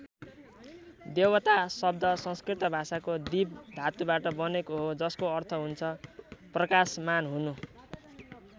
देवता शब्द संस्कृत भाषाको दिव् धातुबाट बनेको हो जसको अर्थ हुन्छ प्रकाशमान हुनु।